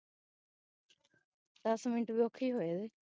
ਦਸ minute ਵੀ ਔਖੇਹੀ ਹੋਏ ਓਏ